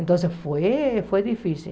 Então foi foi difícil.